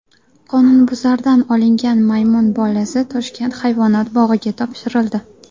Qonunbuzardan olingan maymun bolasi Toshkent hayvonot bog‘iga topshirildi.